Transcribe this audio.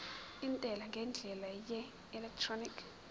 intela ngendlela yeelektroniki